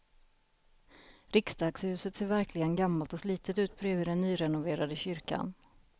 Riksdagshuset ser verkligen gammalt och slitet ut bredvid den nyrenoverade kyrkan.